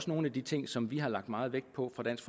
nogle af de ting som vi har lagt meget vægt på fra dansk